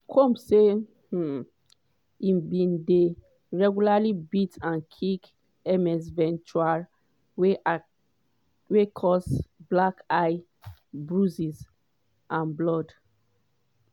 combs say um e bin dey "regularly beat and kick ms ventura wey cause black eyes bruises and blood".